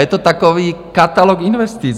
Je to takový katalog investic.